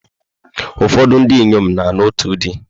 Ụfọdụ ndị inyom na-alụ otu di.